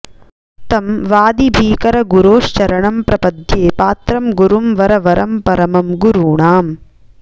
तं वादिभीकरगुरोश्चरणं प्रपद्ये पात्रं गुरुं वरवरं परमं गुरूणाम्